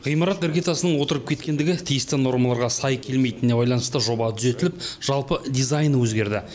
ғимарат іргетасының отырып кеткендігі тиісті нормаларға сай келмейтініне байланысты жоба түзетіліп жалпы дизайны өзгерді